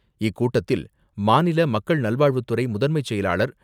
இக்கூட்டத்தில் மாநில மக்கள் நல்வாழ்வுத்துறை முதன்மை செயலாளர்